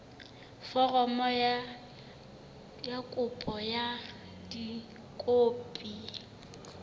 foromo ya kopo ka dikopi